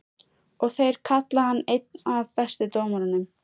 Og þeir kalla hann einn af bestu dómurunum?